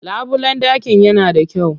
Labulen ɗakin yana da kyau.